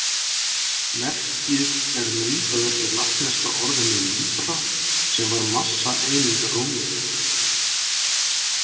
Merkið er myndað eftir latneska orðinu libra sem var massaeining Rómverja.